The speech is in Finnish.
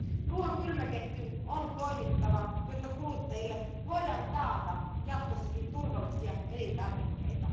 Ruoan kylmäketjun on toimittava, jotta kuluttajille voidaan taata jatkossakin turvallisia elintarvikkeita.